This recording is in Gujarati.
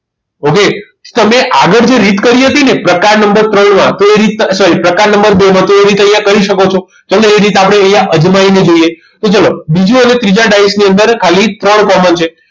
Okay તમે આગળ જે રીત કરી હતી ને પ્રકાર નંબર ત્રણમાં એ રીત sorry પ્રકાર નંબર બે માં તો એ રીતે અહીંયા કરી શકો છો તમને એ રીત અહીંયા અજમાઈ ને જોઈએ તો ચલો બીજા અને ત્રીજા ડાયસ ની અંદર ખાલી ત્રણ common છે